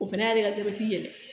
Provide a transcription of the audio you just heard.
O fɛnɛ y'ale ka jabɛti yɛlɛ